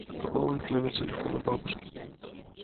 пополнить номер телефона бабушки